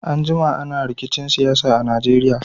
An jima ana rikicin siyasa a Najeriya.